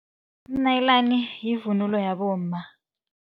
Umnayilani yivunulo yabomma.